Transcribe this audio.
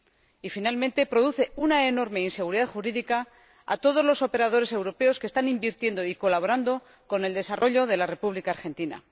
y, finalmente, produce una enorme inseguridad jurídica a todos los operadores europeos que están invirtiendo y colaborando con el desarrollo de la República Argentina.